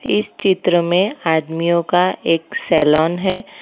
इस चित्र में आदमियों का एक सैलोन है।